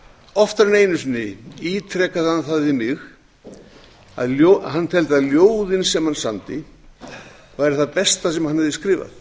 oftar en einu sinni ítrekaði hann það við mig að hann teldi að ljóðin sem hann samdi væru það besta sem hann hefði skrifað